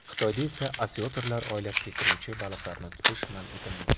Xitoyda esa osyotrlar oilasiga kiruvchi baliqlarni tutish man etilmagan.